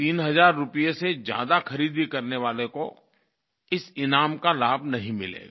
तीन हज़ार रुपये से ज़्यादा खरीदी करने वाले को इस ईनाम का लाभ नहीं मिलेगा